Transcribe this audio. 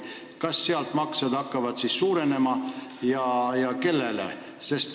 Kas sealt tehtavad maksed suurenevad ja kui jah, siis kellele?